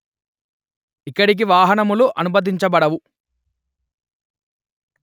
ఇక్కడికి వాహనములు అనుమతించబడవు